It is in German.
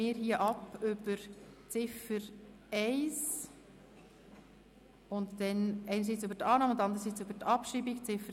Somit stimmen wir über die Ziffer 1, deren Annahme und Abschreibung ab.